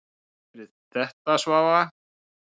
Takk fyrir þetta Svava.